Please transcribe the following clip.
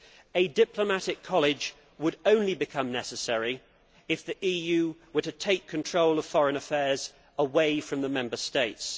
A diplomatic college would only become necessary if the EU were to take control of foreign affairs away from the Member States.